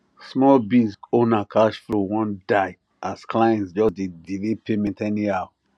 small biz owner cash flow wan die as clients just dey delay payment anyhow